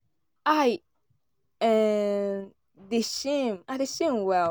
i um dey shame i dey shame well